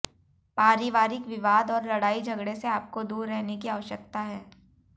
पारिवारिक विवाद और लड़ाई झगड़े से आपको दूर रहने की आवश्यकता है